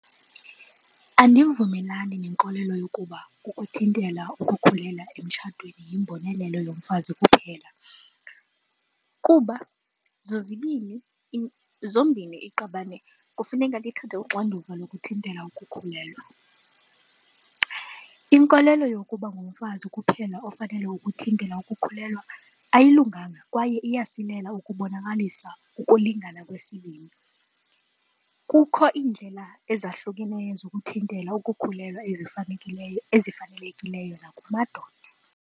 Andivumelani nenkolelo yokuba ukuthintela ukukhulelwa emtshatweni yimbonelelo yomfazi kuphela kuba zozibini, zombini iqabane kufuneka lithathe uxanduva lokuthintela ukukhulelwa. Inkolelo yokuba ngumfazi kuphela ofanele ukuthintela ukukhulelwa ayilunganga kwaye iyasilela ukubonakalisa ukulingana kwesibini. Kukho iindlela ezahlukeneyo zokuthintela ukukhulelwa ezifanelekileyo nakumadoda.